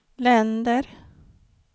länder